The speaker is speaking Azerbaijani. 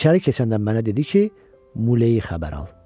İçəri keçəndə mənə dedi ki, Muleyi xəbər al.